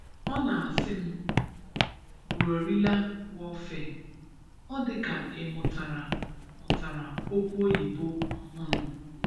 Ọ na-asị m guerrilla warfare, ọ dị ka ị mụtara mụtara okwu Oyibo ọhụrụ.